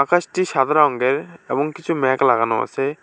আকাশটি সাদা রংগের এবং কিছু মেঘ লাগানো আছে।